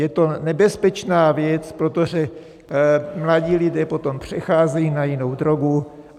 Je to nebezpečná věc, protože mladí lidé potom přecházejí na jinou drogu.